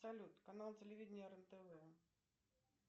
салют канал телевидения рен тв